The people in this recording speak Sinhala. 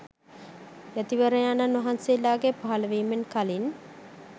යතිවරයාණන් වහන්සේලාගේ පහළවීමෙන් කලින්